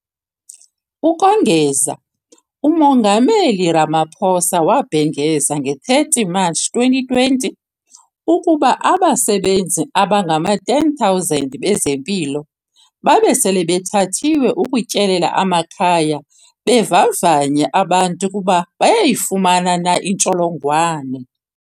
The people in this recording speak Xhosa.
Ukongeza, uMongameli Ramaphosa wabhengeza nge-30 Matshi 2020 ukuba abasebenzi abangama-10 000 bezempilo babe sele bethathiwe ukutyelela amakhaya bevavanya abantu ukuba bayayifumana na intsholongwane.